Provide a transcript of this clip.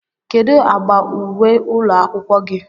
kedu agba uwe ụlọ akwụkwọ gị?